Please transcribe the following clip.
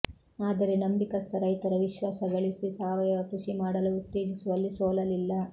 ಆದರೆ ನಂಬಿಕಸ್ಥ ರೈತರ ವಿಶ್ವಾಸ ಗಳಿಸಿ ಸಾವಯವ ಕೃಷಿ ಮಾಡಲು ಉತ್ತೇಜಿಸುವಲ್ಲಿ ಸೋಲಲಿಲ್ಲ